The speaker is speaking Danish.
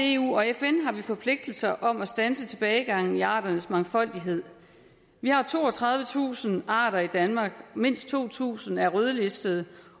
eu og fn har vi forpligtelser om at standse tilbagegangen i arternes mangfoldighed vi har toogtredivetusind arter i danmark mindst to tusind er rødlistede